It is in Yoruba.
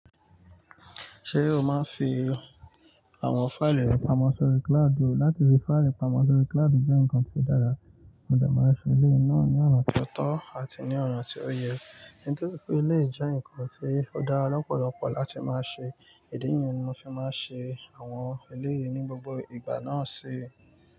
Ṣé o máa ń fi àwọn fáìlì rẹ pamọ́ sórí cloud? Láti fi fáìlì pamọ́ sórí cloud jẹ́ nǹkan tí ó dára. Mo dè ma ń ṣe eléyìí náà ní ọ̀nà tí ó tọ́ àti ní ọ̀nà tí ó yẹ, nítorí pé eléyìí jẹ́ nǹkan tí ó dára lọ́pọ̀lọpọ̀ láti máa ṣe, ìdí nìyẹn ni mo ń ṣe máa ń ṣe àwọn eléyìí ní gbogbo ìgbà náà ṣi.